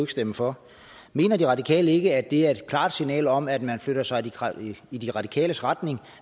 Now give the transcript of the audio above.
stemme for mener de radikale ikke at det er et klart signal om at man flytter sig i de radikales retning